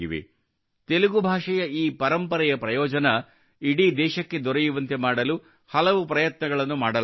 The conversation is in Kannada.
ತೆಲುಗು ಭಾಷೆಯ ಈ ಪರಂಪರೆಯ ಪ್ರಯೋಜನ ಇಡೀ ದೇಶಕ್ಕೆ ದೊರೆಯುವಂತೆ ಮಾಡಲು ಹಲವು ಪ್ರಯತ್ನಗಳನ್ನು ಮಾಡಲಾಗುತ್ತಿದೆ